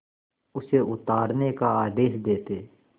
उसे उतारने का आदेश देते